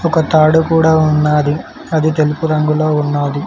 ఒక తాడు కూడా ఉన్నాది అది తెలుపు రంగులో ఉన్నాది.